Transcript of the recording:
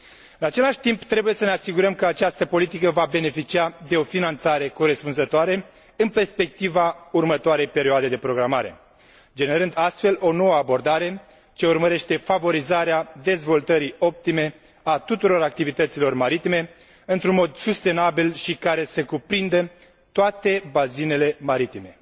În același timp trebuie să ne asigurăm că această politică va beneficia de o finanțare corespunzătoare în perspectiva următoarei perioade de programare, generând astfel o nouă abordare ce urmărește favorizarea dezvoltării optime a tuturor activităților maritime într un mod sustenabil și care să cuprindă toate bazinele maritime.